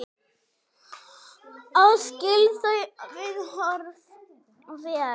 Ég skil þau viðhorf vel.